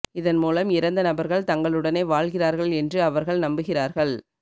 இதன் மூலம் இறந்த நபர்கள் தங்களுடனே வாழ்கிறார்கள் என்று அவர்கள் நம்புகிறார்கள்